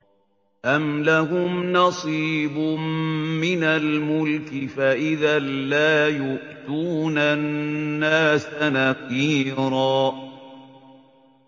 أَمْ لَهُمْ نَصِيبٌ مِّنَ الْمُلْكِ فَإِذًا لَّا يُؤْتُونَ النَّاسَ نَقِيرًا